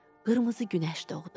Qırmızı günəş doğdu.